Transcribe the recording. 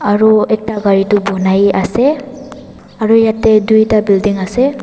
Aro ekta gari toh bunai ase aro yate duita building ase.